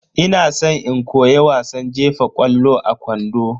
Ina san in koyi wasan jefa ƙwallo a kwando.